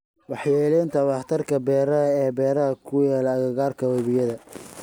Waxyeeleynta waxtarka beeraha ee beeraha ku yaal agagaarka webiyada.